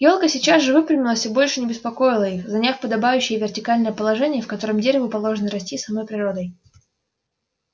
ёлка сейчас же выпрямилась и больше не беспокоила их заняв подобающее ей вертикальное положение в котором дереву положено расти самой природой